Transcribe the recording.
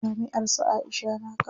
Jami'ar su Aisha na Kano.